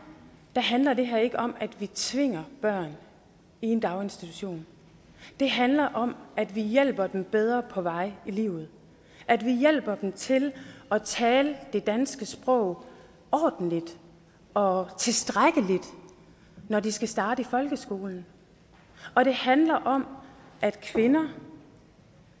handler det her ikke om at vi tvinger børn i en daginstitution det handler om at vi hjælper dem bedre på vej i livet at vi hjælper dem til at tale det danske sprog ordentligt og tilstrækkeligt når de skal starte i folkeskolen og det handler om at kvinder